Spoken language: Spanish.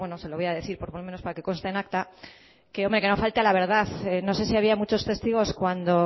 se lo voy a decir por lo menos para que conste en acta que no falte a la verdad no sé si había muchos testigos cuando